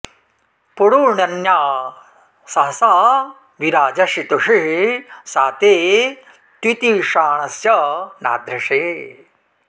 पुरूण्यन्ना सहसा वि राजसि त्विषिः सा ते तित्विषाणस्य नाधृषे